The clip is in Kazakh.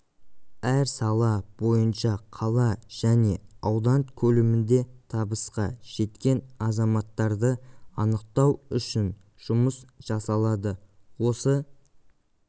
әр сала бойынша қала және аудан көлемінде табысқа жеткен азаматтарды анықтау үшін жұмыс жасалады осы